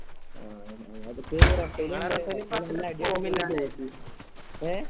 അഹ് ഞങ്ങളിതിപ്പെ എ